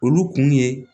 Olu kun ye